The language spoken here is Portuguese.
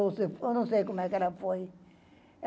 Eu não sei como é que ela foi.